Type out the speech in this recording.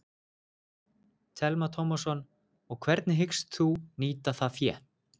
Telma Tómasson: Og hvernig hyggst þú nýta það fé?